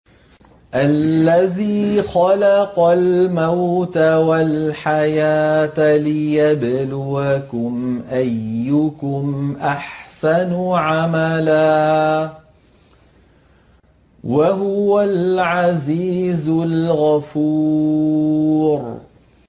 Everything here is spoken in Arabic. الَّذِي خَلَقَ الْمَوْتَ وَالْحَيَاةَ لِيَبْلُوَكُمْ أَيُّكُمْ أَحْسَنُ عَمَلًا ۚ وَهُوَ الْعَزِيزُ الْغَفُورُ